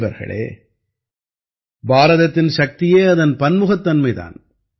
நண்பர்களே பாரதத்தின் சக்தியே அதன் பன்முகத்தன்மை தான்